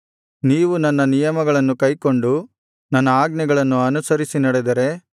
ನೀವು ನನ್ನ ನಿಯಮಗಳನ್ನು ಕೈಕೊಂಡು ನನ್ನ ಆಜ್ಞೆಗಳನ್ನು ಅನುಸರಿಸಿ ನಡೆದರೆ